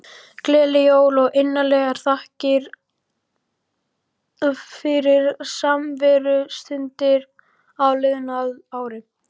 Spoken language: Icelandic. Gleðileg jól og innilegar þakkir fyrir samverustundir á liðnu ári.